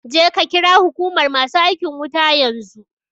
Je ka ƙira huƙumar masu aikin wuta yanzu